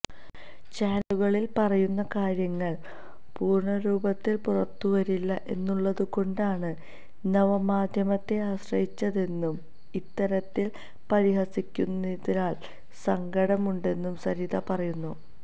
ചാനലുകളില് പറയുന്ന കാര്യങ്ങള് പൂര്ണ രൂപത്തില് പുറത്തുവരില്ല എന്നുള്ളതുകൊണ്ടാണ് നവ മാധ്യമത്തെ ആശ്രയിച്ചതെന്നും ഇത്തരത്തില് പരിഹസിക്കുന്നതില് സങ്കടമുണ്ടെന്നും സരിത പറയുന്നു